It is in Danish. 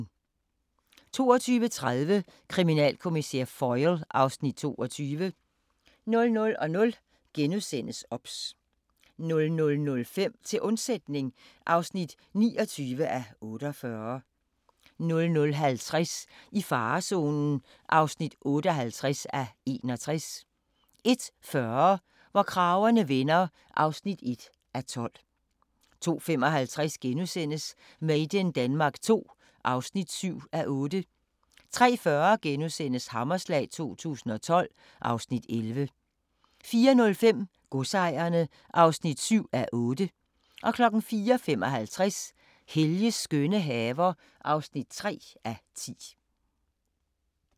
22:30: Kriminalkommissær Foyle (Afs. 22) 00:00: OBS * 00:05: Til undsætning (29:48) 00:50: I farezonen (58:61) 01:40: Hvor kragerne vender (1:12) 02:55: Made in Denmark II (7:8)* 03:40: Hammerslag 2012 (Afs. 11)* 04:05: Godsejerne (7:8) 04:55: Helges skønne haver (3:10)